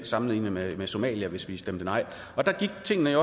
sammenlignes med somalia hvis vi stemte nej og der gik tingene